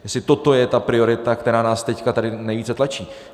Jestli toto je ta priorita, která nás teď tady nejvíce tlačí.